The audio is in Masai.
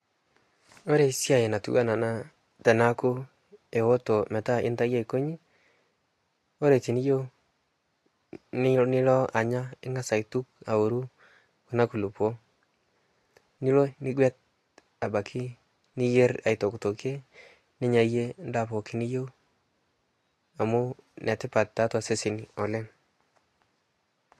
kore siai natuwana anaa teneaku eotoo metaa intaiya aikonyii kore tiniyeu nilo anyaa ingaz alo aituk aworuu kuna kulipoo nilo nigwet abaki niyer aitoktokie ninyayie ndaa pooki niyeu amu netipat taatua seseni oleng